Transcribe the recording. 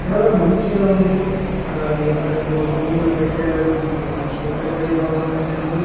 చాలా మంచిగా ఉంది అలాగే అక్కడేందో బొమ్మలు పెట్టారు ఇదేమో చేతబడిలాగ ఉన్నదండి.